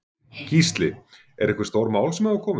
Gísli: Eru einhver stór mál sem hafa komið?